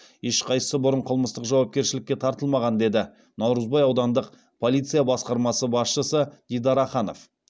ешқайсысы бұрын қылмыстық жауапкершілікке тартылмаған деді наурызбай аудандық полиция басқармасы басшысы дидар аханов